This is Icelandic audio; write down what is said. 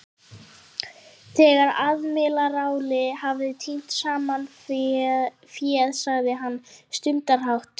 Þegar aðmírállinn hafði tínt saman féð sagði hann stundarhátt